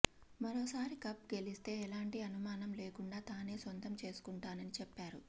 మరోసారి కప్ గెలిస్తే ఎలాంటి అనుమానం లేకుండా తానే సొంతం చేసుకుంటానని చెప్పారు